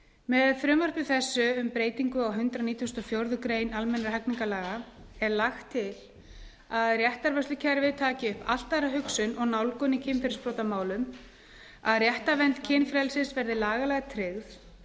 með frumvarpi þessu um breytingu á hundrað nítugasta og fjórðu grein almennra hegningarlaga er lagt til að réttarvörslukerfið taki upp allt aðra hugsun og nálgun í kynferðisbrotamálum að réttarvernd kynfrelsis verði lagalega tryggð